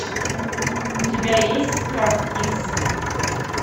у тебя есть страх икс